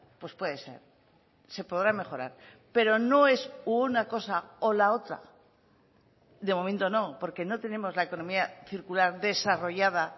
pues puede ser se podrá mejorar pero no es una cosa o la otra de momento no porque no tenemos la economía circular desarrollada